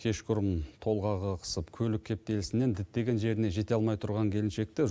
кешқұрым толғағы қысып көлік кептелісінен діттеген жеріне жете алмай тұрған келіншекті